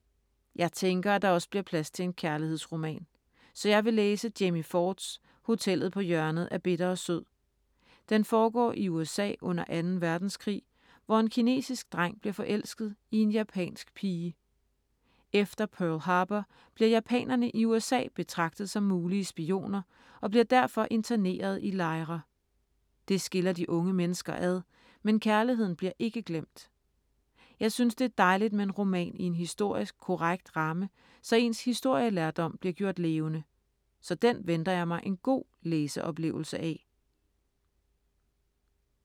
Jeg tænker, at der også bliver plads til en kærlighedsroman. Så jeg vil læse Jamie Fords Hotellet på hjørnet af bitter og sød. Den foregår i USA under 2. verdenskrig, hvor en kinesisk dreng bliver forelsket i en japansk pige. Efter Pearl Harbour bliver japanerne i USA betragtet som mulige spioner og bliver derfor internerede i lejre. Det skiller de unge mennesker ad, men kærligheden bliver ikke glemt. Jeg synes, det er dejligt med en roman i en historisk korrekt ramme, så ens historielærdom bliver gjort levende. Så den venter jeg mig en god læseoplevelse af.